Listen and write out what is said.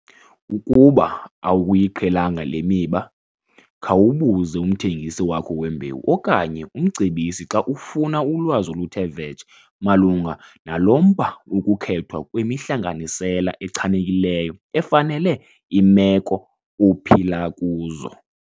Ukuba akuyiqhelanga le miba, khawubuze umthengisi wakho wembewu okanye umcebisi xa ufuna ulwazi oluthe vetshe malunga nalo mba wokukhethwa kwemihlanganisela echanekileyo efanele iimeko ophila kuzo.